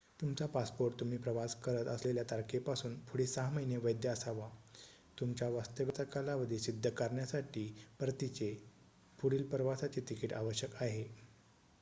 तुमचा पासपोर्ट तुम्ही प्रवास करत असलेल्या तारखेपासून पुढे ६ महिने वैध असावा. तुमच्या वास्तव्याचा कालावधी सिद्ध करण्यासाठी परतीचे/पुढील प्रवासाचे तिकीट आवश्यक आहे